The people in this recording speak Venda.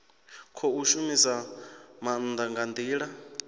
khou shumisa maanda nga ndila